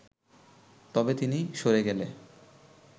তবে তিনি সরে গেলে